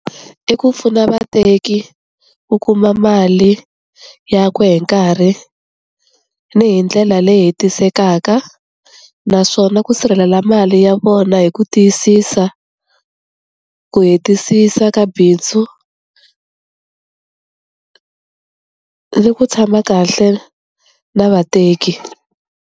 I ku pfuna vateki ku kuma mali ya ku hi nkarhi ni hi ndlela leyi hetisekaka naswona ku sirhelela mali ya vona hi ku tiyisisa ku hetisisa ka bindzu ni ku tshama kahle na vateki.